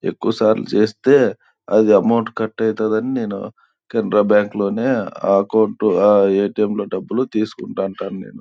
ఎక్కువ సార్లు చేస్తే అది అమౌంట్ కట్ అవుతాది అని నేను కెనరా బ్యాంకు లోనే ఆ_ట్_ఎం లోని అకౌంట్ లో నే డబులు తీసుకుంటూ ఉంటాను.